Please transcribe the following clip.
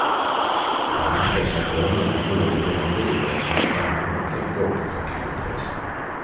Varmpressad olja är gjord på de oliver man redan använt en gång för kallpressning.